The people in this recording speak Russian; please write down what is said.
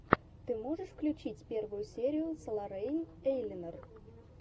ты можешь включить первую серию соларейн эйлинор